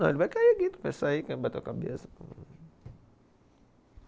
Não, ele vai cair aqui, tropeçar aí, bater a cabeça.